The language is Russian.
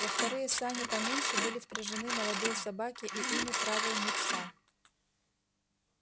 во вторые сани поменьше были впряжены молодые собаки и ими правил мит са